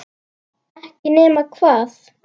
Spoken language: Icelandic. Ekki nema hvað?